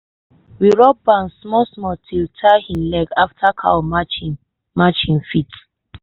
we rub balm small small still tie hin leg after cow match him match him foot.